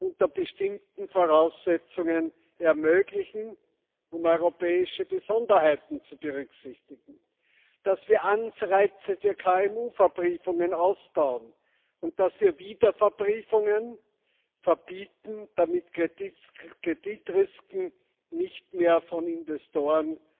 unter bestimmten Voraussetzungen ermöglichen, um europäische Besonderheiten zu berücksichtigen, dass wir Anreize für KMU Verbriefungen ausbauen und dass wir Wiederverbriefungen verbieten, damit Kreditrisken nicht mehr von Investoren